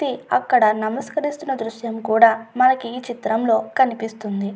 తి అక్కడ నమస్కరిస్తున్న దృశ్యం కూడా మనకు ఈ చిత్రంలో కనిపిస్తోంది.